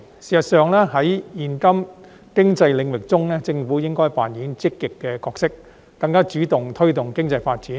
事實上，在現今經濟領域中，政府應該扮演積極的角色，更主動地推動經濟發展。